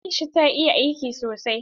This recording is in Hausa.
Aisha ta iya aiki sosai?